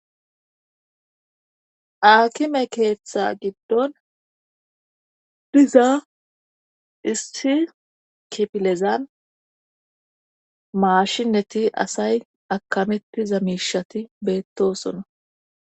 Akime keeththa giddon diza issi kipilezan maashinneti asay akametiza miishati beettosona